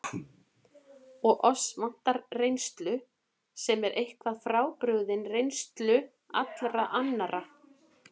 Og oss vantar reynslu, sem er eitthvað frábrugðin reynslu allra annarra.